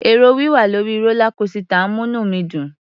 È̀rò wíwà lórí rólá kósità ń múní mi dùn.